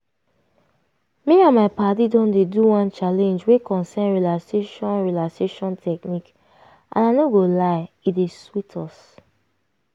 me and my padi don dey do one challenge wey concern relaxation relaxation technique and i no go lie e dey sweet us.